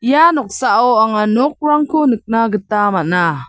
ia noksao anga nokrangko nikna gita man·a.